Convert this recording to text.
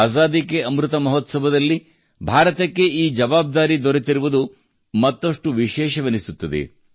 ಆಜಾದಿ ಕೆ ಅಮೃತ ಮಹೋತ್ಸವದಲ್ಲಿ ಭಾರತಕ್ಕೆ ಈ ಜವಾಬ್ದಾರಿ ದೊರೆತಿರುವುದು ಮತ್ತಷ್ಟು ವಿಶೇಷವೆನ್ನಿಸುತ್ತದೆ